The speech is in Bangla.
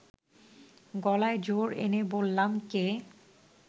গলায় জোর এনে বললাম, কে